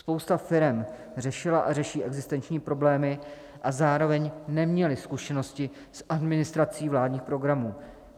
Spousta firem řešila a řeší existenční problémy a zároveň neměly zkušenosti s administrací vládních programů.